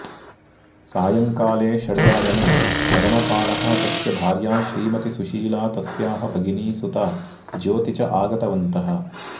सायंकाले षठ्वादने मदनपालः तस्य भार्या श्रीमतिसुशीला तस्याः भगिनीसुता ज्योति च आगतवन्तः